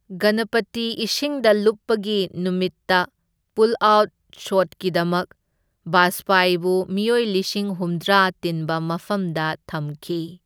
ꯒꯅꯄꯇꯤ ꯏꯁꯤꯡꯗ ꯂꯨꯞꯄꯒꯤ ꯅꯨꯃꯤꯠꯇ ꯄꯨꯜꯑꯥꯎꯠ ꯁꯣꯠꯀꯤꯗꯃꯛ, ꯕꯥꯖꯄꯥꯏꯕꯨ ꯃꯤꯑꯣꯏ ꯂꯤꯁꯤꯡ ꯍꯨꯝꯗ꯭ꯔꯥ ꯇꯤꯟꯕ ꯃꯐꯝꯗ ꯊꯝꯈꯤ꯫